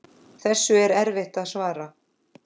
Þessu er erfitt að svara.